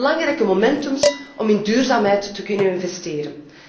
dat zijn belangrijke instrumenten om in duurzaamheid te kunnen investeren.